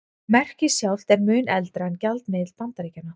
Merkið sjálft er mun eldra en gjaldmiðill Bandaríkjanna.